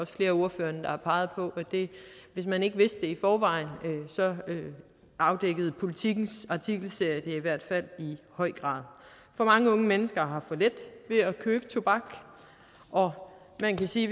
flere af ordførerne der har peget på at hvis man ikke vidste det i forvejen så afdækkede politikens artikelserie det i hvert fald i høj grad for mange unge mennesker har for let ved at købe tobak og man kan sige